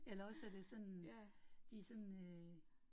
Eller også er det sådan, de sådan øh